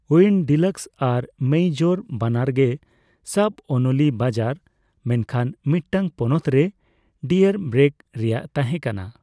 ᱩᱭᱤᱱᱼᱰᱞᱤᱠᱥ ᱟᱨ ᱢᱮᱭᱤᱡᱚᱨ ᱵᱟᱱᱟᱨ ᱜᱮ ᱥᱟᱯᱼᱳᱱᱚᱞᱤ ᱵᱟᱡᱟᱨ, ᱢᱮᱱᱠᱷᱟᱱ ᱢᱤᱫᱴᱟᱝ ᱯᱚᱱᱚᱛ ᱨᱮ ᱰᱮᱭᱮᱨᱵᱮᱨᱜ ᱨᱮᱭᱟᱜ ᱛᱟᱦᱮᱸ ᱠᱟᱱᱟ ᱿